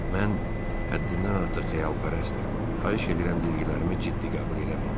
Mən həddindən artıq xəyalpərəstəm, xahiş edirəm dediklərimi ciddi qəbul eləməyin.